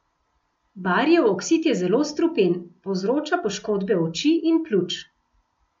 Barijev oksid je zelo strupen, povzroča poškodbe oči in pljuč.